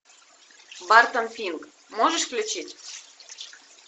бартон финк можешь включить